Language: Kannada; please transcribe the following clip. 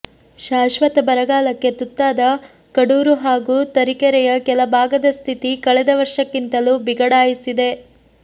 ಶಾಶ್ವತ ಬರಗಾಲಕ್ಕೆ ತುತ್ತಾದ ಕಡೂರು ಹಾಗೂ ತರೀಕೆರೆಯ ಕೆಲ ಭಾಗದ ಸ್ಥಿತಿ ಕಳೆದ ವರ್ಷಕ್ಕಿಂತಲೂ ಬಿಗಡಾಯಿಸಿದೆ